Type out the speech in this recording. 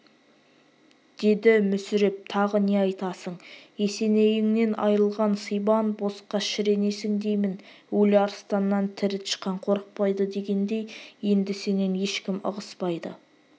деді мүсіреп тағы не айтасың есенейіңнен айрылған сибан босқа шіренесің деймін өлі арыстаннан тірі тышқан қорықпайды дегендей енді сенен ешкім ығыспайды